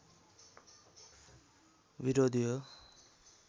विरोधी हो।